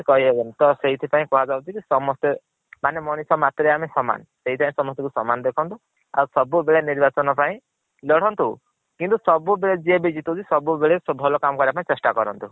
ସେଇଥିପାଇଁ କୁହାଯାଉଛି ଯେ ସମସ୍ତେ ମାନେ ମଣିଷ ମାଟିରେ ଆମେ ସମାନ। ସେଇଥି ପାଇଁ ସ୍ମସ୍ତଂକୁ ସମାନ ଦେଖନ୍ତୁ ଆଉ ସବୁ ବେଳେ ନିର୍ବଚାନ ପାଇଁ ଲଢନ୍ତୁ। କିନ୍ତୁ ସବୁ ବେଳେ ଯିଏ ବି ଜିତୁଛି ସବୁ ବେଳେ ଭଲ କାମ କରିବା ପାଇଁ ଚେଷ୍ଟା କରନ୍ତୁ।